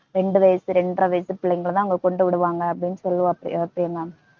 ரெண்டு வயசு இரண்டரை வயசு பிள்ளைங்களாதான் அங்க கொண்டு விடுவாங்க அப்படின்னு சொல்லுவா பிரிய~ பிரியங்கா